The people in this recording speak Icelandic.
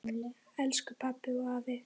Elsku pabbi og afi.